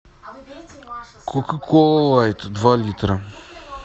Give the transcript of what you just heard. кока кола лайт два литра